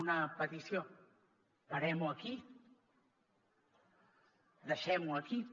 una petició parem ho aquí deixem ho aquí